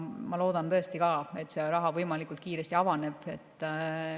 Ma loodan tõesti, et see raha võimalikult kiiresti avaneb.